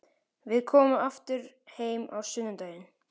Við komum aftur heim á sunnudag.